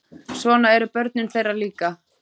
Svona eru börnin þeirra líka.